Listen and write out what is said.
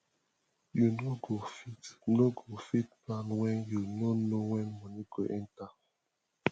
you no go fit no go fit plan when you no know money wey dey enter